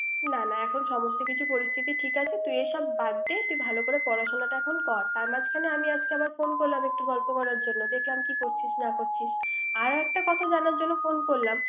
না না সমস্ত কিছু ঠিক আছে তুই এখন সব বাদ দে তুই ভালো করে পড়াশুনাটা এখন কর। তার মাঝখান আজকে আবার ফোন করলাম একটু গল্প করলাম দেখলাম কি করছিস না করাছিস। আর একটা কথা জানার জন্য ফোন করলাম